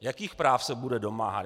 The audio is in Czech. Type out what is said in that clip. Jakých práv se bude domáhat?